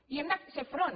hi hem de fer front